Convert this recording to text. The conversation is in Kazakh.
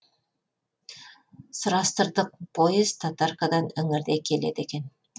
сұрастырдық поезд татаркадан іңірде келеді екен